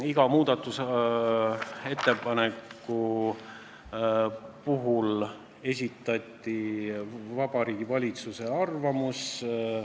Iga muudatusettepaneku kohta esitati Vabariigi Valitsuse arvamus.